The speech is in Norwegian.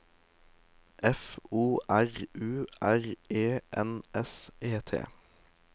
F O R U R E N S E T